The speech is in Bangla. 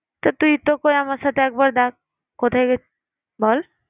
তা তুই তো কই আমার সাথে একবারও দেখ~ কোথায় গেছিলিস? বল